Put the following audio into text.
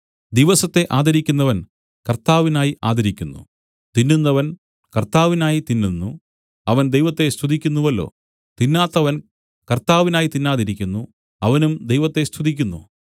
ദിവസത്തെ ആദരിക്കുന്നവൻ കർത്താവിനായി ആദരിക്കുന്നു തിന്നുന്നവൻ കർത്താവിനായി തിന്നുന്നു അവൻ ദൈവത്തെ സ്തുതിക്കുന്നുവല്ലോ തിന്നാത്തവൻ കർത്താവിനായി തിന്നാതിരിക്കുന്നു അവനും ദൈവത്തെ സ്തുതിക്കുന്നു